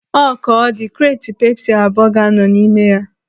Ọ ka ọ dị, kreeti pepsi abụọ ga-anọ n'ime ya.